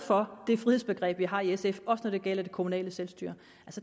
for det frihedsbegreb vi har i sf også når det gælder det kommunale selvstyre